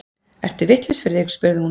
Ertu vitlaus, Friðrik? spurði hún.